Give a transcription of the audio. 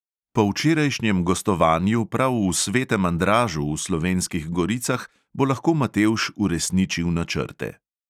Po včerajšnjem gostovanju prav v svetem andražu v slovenskih goricah bo lahko matevž uresničil načrte.